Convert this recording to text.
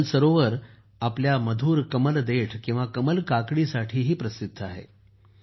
दल सरोवर आपल्या मधुर कमल देठ किंवा कमल काकडीसाठी प्रसिद्ध आहे